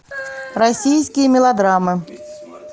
российские мелодрамы